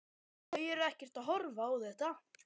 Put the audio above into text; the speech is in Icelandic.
Þau eru ekkert að horfa á þetta?